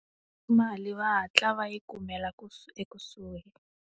Mali va hatla va yi kumela ku ekusuhi.